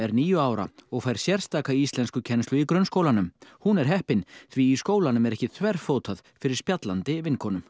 níu ára og fær sérstaka íslenskukennslu í grunnskólanum hún er heppin því í skólanum er ekki þverfótað fyrir spjallandi vinkonum